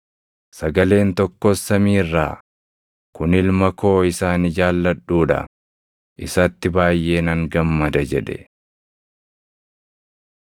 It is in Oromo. Sagaleen tokkos samii irraa, “Kun Ilma koo isa ani jaalladhuu dha; isatti baayʼee nan gammada” jedhe.